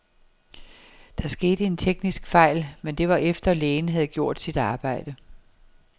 Der skete en teknisk fejl, men det var efter, lægen havde gjort sit arbejde.